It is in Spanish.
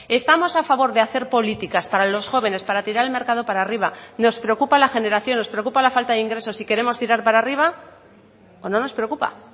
estamos a favor de hacer políticas para los jóvenes para tirar el mercado para arriba nos preocupa la generación nos preocupa la falta de ingresos y queremos tirar para arriba o no nos preocupa